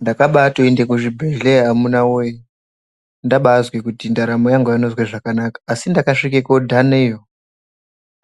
Ndakabaatoenda kuzvibhendleya amuna woyee ndabaazwa kuti ndaramo yangu aina kuzwa zvakanaka asi ndakasvika koodhanayo.